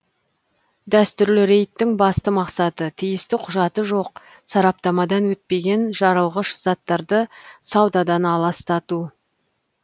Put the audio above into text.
дәстүрлі рейдтің басты мақсаты тиісті құжаты жоқ сараптамадан өтпеген жарылғыш заттарды саудадан аластату